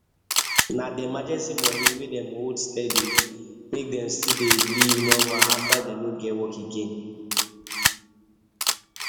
na the emergency money wey dem hold steady make dem still dey live normal after dem no get work again